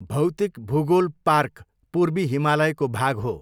भौतिक भूगोल पार्क पूर्वी हिमालयको भाग हो।